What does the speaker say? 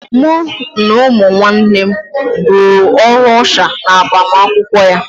Mụ na ụmụ nwanne m rụrụ ọrụ ọsha n'agbamakwụkwọ ya